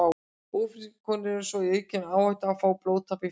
Ófrískar konur eru svo í aukinni áhættu á að fá blóðtappa í fætur.